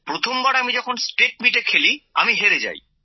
প্রথমবার আমি যখন স্টেট মিটে খেলি আমি হেরে যাই